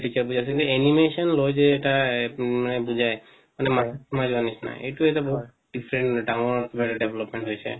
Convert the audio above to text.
animation লয় যে এটা এ মানে বুজাই মানে এইটো এটা বহুত different মানে ডাঙৰ এটা development হৈছে